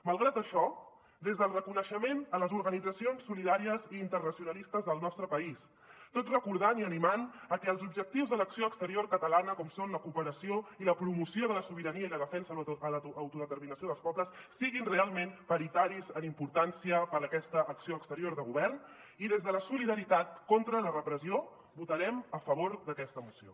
malgrat això des del reconeixement a les organitzacions solidàries i internacionalistes del nostre país tot recordant i animant a que els objectius de l’acció exterior catalana com són la cooperació i la promoció de la sobirania i la defensa de l’autodeterminació dels pobles siguin realment paritaris en importància per a aquesta acció exterior de govern i des de la solidaritat contra la repressió votarem a favor d’aquesta moció